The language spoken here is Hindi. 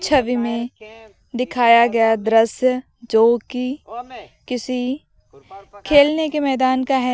छवि में दिखाया गया दृश्य जो कि किसी खेलने के मैदान का है।